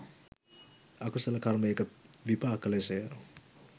අකුසල කර්මයක විපාක ලෙසය.